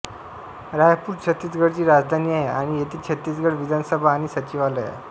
रायपूर छत्तीसगडची राजधानी आहे आणि येथे छत्तीसगड विधानसभा आणि सचिवालय आहे